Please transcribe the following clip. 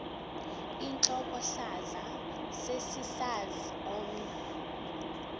intlokohlaza sesisaz omny